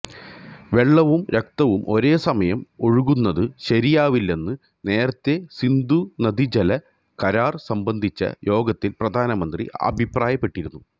വെള്ളവും രക്തവും ഒരേ സമയം ഒഴുകുന്നത് ശരിയാവില്ലെന്ന് നേരത്തെ സിന്ധുനദീജല കരാര് സംബന്ധിച്ച യോഗത്തില് പ്രധാനമന്ത്രി അഭിപ്രായപ്പെട്ടിരുന്നു